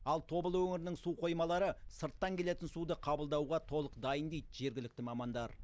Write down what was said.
ал тобыл өңірінің су қоймалары сырттан келетін суды қабылдауға толық дайын дейді жергілікті мамандар